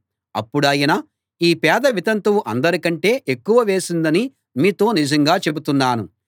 అప్పుడాయన ఈ పేద వితంతువు అందరి కంటే ఎక్కువ వేసిందని మీతో నిజంగా చెబుతున్నాను